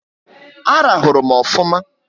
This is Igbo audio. A rahuru m ofụma